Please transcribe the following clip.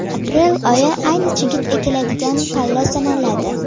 Aprel oyi ayni chigit ekiladigan palla sanaladi.